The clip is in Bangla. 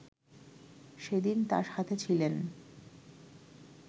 সেদিন তার সাথে ছিলেন